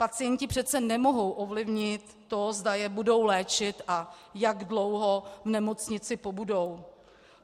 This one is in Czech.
Pacienti přece nemohou ovlivnit to, zda je budou léčit a jak dlouho v nemocnici pobudou.